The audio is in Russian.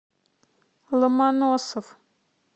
ломоносов